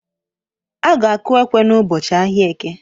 Aga-aku ekwe n'ụbọchị ahịa eke.